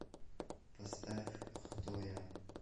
поставь хто я